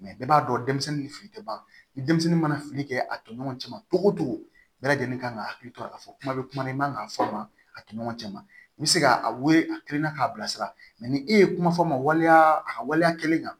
bɛɛ b'a dɔn denmisɛnnin ni fili tɛ ban ni denmisɛnnin mana fili kɛ a toɲɔgɔn cɛ ma cogo cogo bɛɛ lajɛlen kan ka hakili to a ka fɔ kuma bɛ kuma i man kan k'a fɔ ma a toɲɔgɔncɛ ma i bɛ se k'a wele a kilenna k'a bilasira mɛ ni e ye kuma fɔ maa ma waliya a ka waleya kelen kan